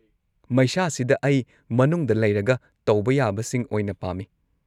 ꯃꯩꯁꯥꯁꯤꯗ ꯑꯩ ꯃꯅꯨꯡꯗ ꯂꯩꯔꯒ ꯇꯧꯕ ꯌꯥꯕꯁꯤꯡ ꯑꯣꯏꯅ ꯄꯥꯝꯃꯤ꯫